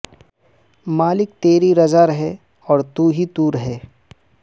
مالک تری رضا رہے اور تو ہی تو رہے